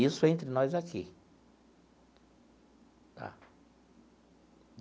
Isso entre nós aqui tá.